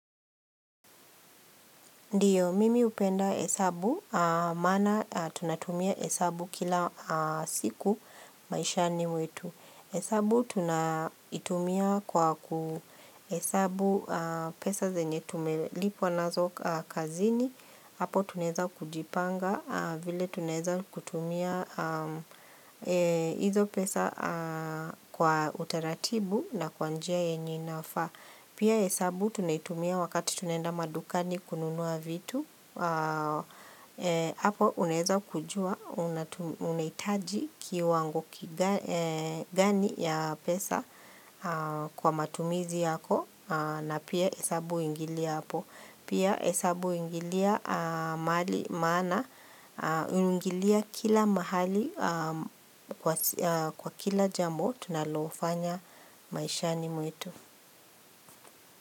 Ndiyo, mimi upenda hesabu, maana tunatumia hesabu kila siku maishani mwetu. Hesabu tunaitumia kwa kuhesabu pesa zenye tumelipwa nazo kazini, hapo tuneza kujipanga vile tuneza kutumia hizo pesa kwa utaratibu na kwa njia yenye inafaa. Pia hesabu tunaitumia wakati tunaenda madukani kununua vitu, hapo uneaza kujua unaitaji kiwango kigani ya pesa kwa matumizi yako na pia hesabu ingilia hapo. Pia hesabu uingilia mahali maana, ingilia kila mahali kwa kila jambo tunalofanya maishani mwetu.